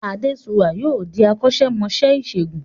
Adéṣuwà yóò di akọ́ṣẹ́mọṣẹ́ ìṣègùn